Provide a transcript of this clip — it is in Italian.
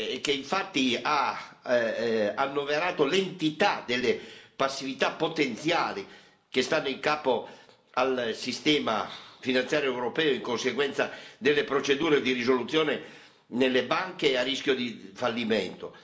che infatti ha annoverato l'entità delle passività potenziali che stanno in capo al sistema finanziario europeo in conseguenza delle procedure di risoluzione nelle banche a rischio di fallimento.